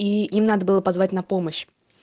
и им надо было позвать на помощь